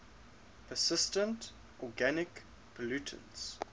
persistent organic pollutants